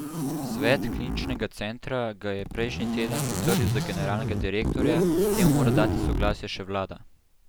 Svet kliničnega centra ga je prejšnji teden potrdil za generalnega direktorja, k temu mora dati soglasje še vlada.